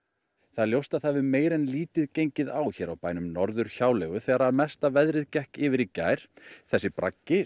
það er ljóst að það hefur meira en lítið gengið á hér á bænum Norður hjáleigu þegar mesta veðrið gekk yfir í gær þessi